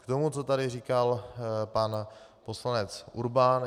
K tomu, co tady říkal pan poslanec Urban.